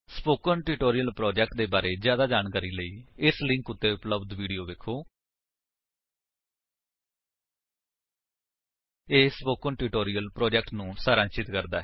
spoken tutorial project ਦੇ ਬਾਰੇ ਵਿੱਚ ਜਿਆਦਾ ਜਾਣਨ ਲਈ ਇਸ ਲਿੰਕ ਉੱਤੇ ਉਪਲੱਬਧ ਵਿਡੇਓ ਵੇਖੋ http spoken tutorial org What is a Spoken Tutorial ਇਹ ਸਪੋਕਨ ਟਿਊਟੋਰਿਅਲ ਪ੍ਰੋਜੇਕਟ ਨੂੰ ਸਾਰਾਂਸ਼ਿਤ ਕਰਦਾ ਹੈ